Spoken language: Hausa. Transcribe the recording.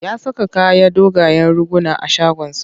Ya saka kayan dogayen riguna a shagonsa.